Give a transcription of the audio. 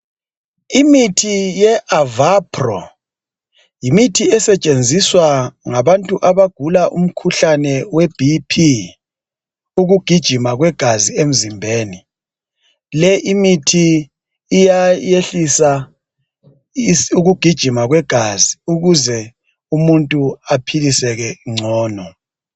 Imithi ye avapro yimithi esetshenziswa ngabantu abagula umkhuhlane webp ukugijima kwegazi emzimbeni le imithi iyayehlisa ukugijima kwegazi ukuze umuntu aphiliseke ngcono